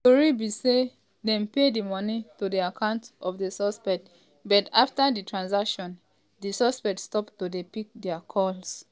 tori be say um dem pay di money to the account of di suspect but afta di transaction di suspect stop to dey pick dia calls.